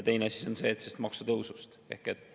Teine asi on see, et sellest maksutõusust.